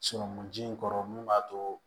ji in kɔrɔ mun b'a to